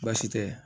Baasi tɛ